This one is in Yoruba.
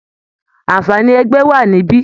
Àǹfààní ẹgbẹ́ wà níbí